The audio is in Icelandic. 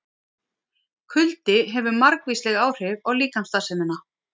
Kuldi hefur margvísleg áhrif á líkamsstarfsemina.